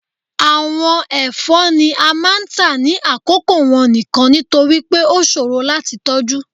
Awọn ẹfọ ni a máà ń ta ni akoko wọn nikan, nitori pe o ṣoro lati tọju.